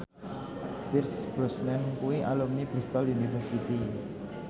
Pierce Brosnan kuwi alumni Bristol university